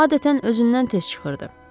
Adətən özündən tez çıxırdı.